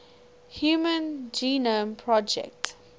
human genome project